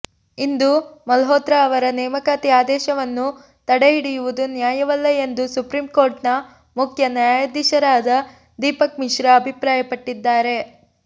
ಇಂದು ಮಲ್ಹೋತ್ರ ಅವರ ನೇಮಕಾತಿ ಆದೇಶವನ್ನು ತಡೆಹಿಡಿಯುವುದು ನ್ಯಾಯವಲ್ಲ ಎಂದು ಸುಪ್ರೀಂ ಕೋರ್ಟ್ನ ಮುಖ್ಯ ನ್ಯಾಯಾಧೀಶರಾದ ದೀಪಕ್ ಮಿಶ್ರಾ ಅಭಿಪ್ರಾಯಪಟ್ಟಿದ್ದಾರೆ